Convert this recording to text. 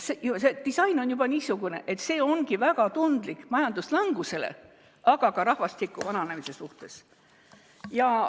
juba disain on niisugune, et see ongi väga tundlik majanduslanguse, aga ka rahvastiku vananemise suhtes.